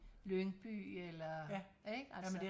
Lyngby eller ikke? Altså